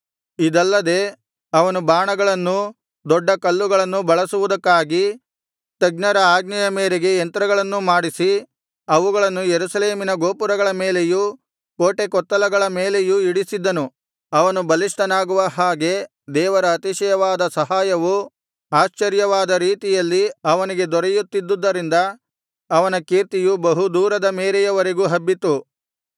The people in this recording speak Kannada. ಇದಲ್ಲದೆ ಅವನು ಬಾಣಗಳನ್ನೂ ದೊಡ್ಡ ಕಲ್ಲುಗಳನ್ನು ಬಳಸುವುದಕ್ಕಾಗಿ ತಜ್ಞರ ಆಜ್ಞೆಯ ಮೇರೆಗೆ ಯಂತ್ರಗಳನ್ನೂ ಮಾಡಿಸಿ ಅವುಗಳನ್ನು ಯೆರೂಸಲೇಮಿನ ಗೋಪುರಗಳ ಮೇಲೆಯೂ ಕೋಟೆಕೊತ್ತಲಗಳನ್ನು ಮೇಲೆಯೂ ಇಡಿಸಿದ್ದನು ಅವನು ಬಲಿಷ್ಠನಾಗುವ ಹಾಗೆ ದೇವರ ಅತಿಶಯವಾದ ಸಹಾಯವು ಆಶ್ಚರ್ಯವಾದ ರೀತಿಯಲ್ಲಿ ಅವನಿಗೆ ದೊರೆಯುತ್ತಿದ್ದುದರಿಂದ ಅವನ ಕೀರ್ತಿಯೂ ಬಹು ದೂರದ ಮೇರೆಯವರೆಗೂ ಹಬ್ಬಿತು